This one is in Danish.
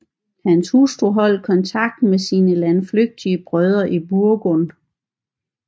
Hans hustru holdt kontakten med sine landflygtige brødre i Burgund